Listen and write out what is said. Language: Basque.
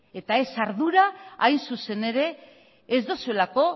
eta ez ardura hain zuzen ere ez duzuelako